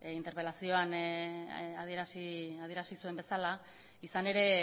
interpelazioa adierazi zuen bezala izan ere